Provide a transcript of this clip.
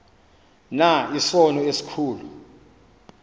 na isono esikhulu